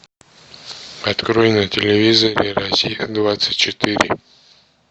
открой на телевизоре россия двадцать четыре